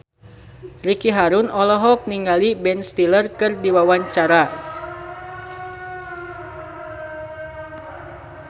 Ricky Harun olohok ningali Ben Stiller keur diwawancara